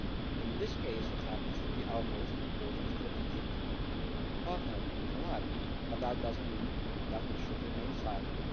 In this case it happens to be our most important strategic partner and ally, but that does not mean that we should remain silent.